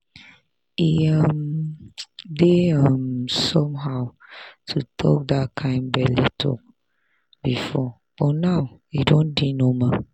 e um dey um somehow to talk that kind belle talk before but now e don dey normal.